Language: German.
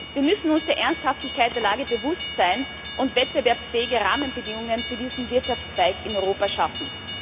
Wir müssen uns der Ernsthaftigkeit der Lage bewusst sein und wettbewerbsfähige Rahmenbedingungen für diesen Wirtschaftszweig in Europa schaffen.